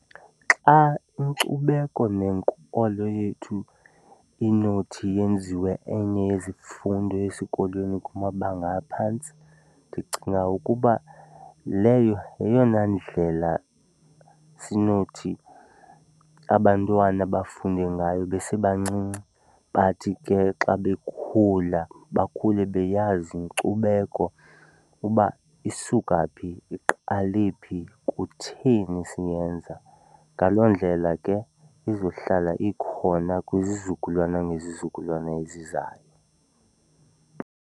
Xa inkcubeko nenkolo yethu inothi yenziwe enye yezifundo esikolweni kumabanga aphantsi ndicinga ukuba leyo yeyona ndlela sinothi abantwana bafunde ngayo besebancinci bathi ke xa bekhula bakhule beyazi inkcubeko uba isuka phi, iqale phi, kutheni siyenza. Ngaloo ndlela ke izohlala ikhona kwizizukulwana ngezizukulwana ezizayo.